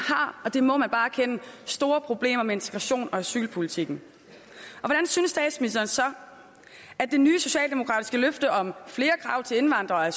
har det må man bare erkende store problemer med integrations og asylpolitikken hvordan synes statsministeren så at det nye socialdemokratiske løfte om flere krav til indvandrere og